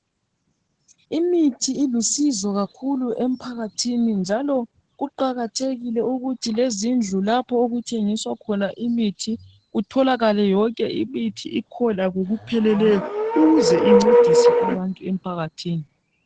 Imithi ilusizo kakhulu emphakathini, njalo kuqakathekile ukuthi lezindlu lapho okuthengiswa khona imithi kutholakale yonke imithi ikhona ngokupheleleyo, ukuze incedise abantu emphakathini.